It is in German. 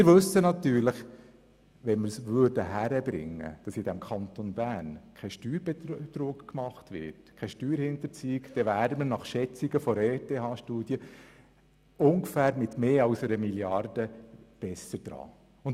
Wir wissen natürlich: könnten wir im Kanton Bern den Steuerbetrug respektive die Steuerhinterziehung unterbinden, dann hätten wir nach Schätzung einer Studie der ETH ungefähr 1 Mrd. Franken Mehreinnahmen.